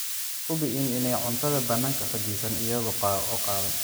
Hubi in aanay cuntadu bannaanka fadhiisan iyada oo qaawan.